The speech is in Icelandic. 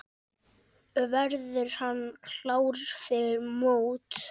Verður hann klár fyrir mót?